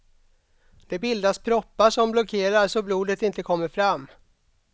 Det bildas proppar som blockerar så blodet inte kommer fram.